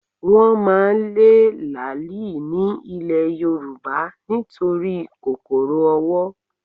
Wọ́n máa lé làálì ní ilè Yorùbá nítorí kòkòrò owó